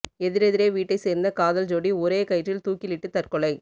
எதிரெதிரே வீட்டை சேர்ந்த காதல் ஜோடி ஒரே கயிற்றில் தூக்கிலிட்டு தற்கொலை